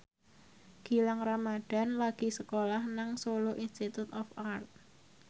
Gilang Ramadan lagi sekolah nang Solo Institute of Art